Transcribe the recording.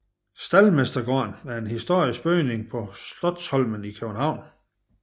Staldmestergården er en historisk bygning på Slotsholmen i København